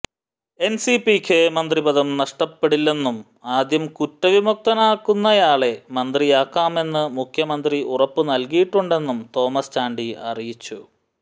എന്സിപിക്ക് മന്ത്രിപദം നഷ്ടപ്പെടില്ലെന്നും ആദ്യം കുറ്റവിമുക്തനാകുന്നയാളെ മന്ത്രിയാക്കാമെന്ന് മുഖ്യമന്ത്രി ഉറപ്പുനല്കിയിട്ടുണ്ടെന്നും തോമസ് ചാണ്ടി അറിയിച്ചു